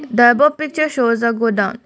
the above picture shows a godown.